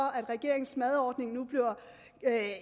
at regeringens madordning nu bliver